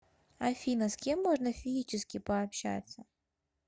афина с кем можно физически пообщаться